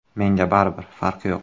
Menga baribir, farqi yo‘q.